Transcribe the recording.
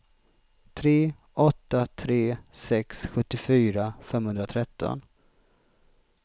tre åtta tre sex sjuttiofyra femhundratretton